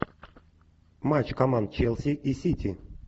матч команд челси и сити